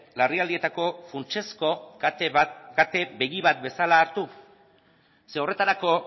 larrialdietako funtsezko kate bat kate begi bat bezala hartu zeren horretarako